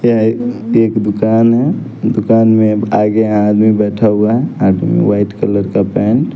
ये ऐ एक दुकान है दुकान में आगे यहाँ आदमी बैठा हुआ है आदमी व्हाईट कलर का पैंट --